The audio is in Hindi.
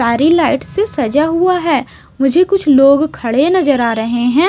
प्यारी लाइट से सजा हुआ है मुझे कुछ लोग खड़े नजर आ रहे हैं।